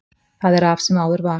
Það er af sem áður var.